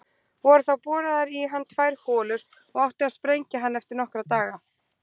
Voru þá boraðar í hann tvær holur og átti að sprengja hann eftir nokkra daga.